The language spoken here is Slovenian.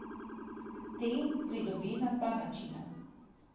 Te pridobi na dva načina.